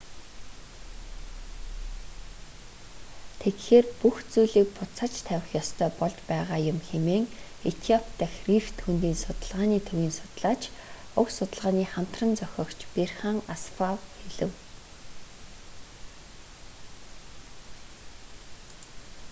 тэгэхээр бүх зүйлийг буцааж тавих ёстой болж байгаа юм хэмээн этиоп дахь рифт хөндийн судалгааны төвийн судлаач уг судалгааны хамтран зохиогч берхан асфав хэлжээ